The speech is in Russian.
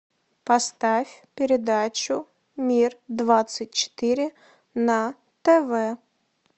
поставь передачу мир двадцать четыре на тв